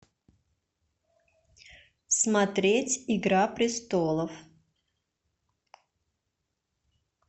смотреть игра престолов